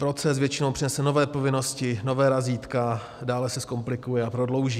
Proces většinou přinese nové povinnosti, nová razítka, dále se zkomplikuje a prodlouží.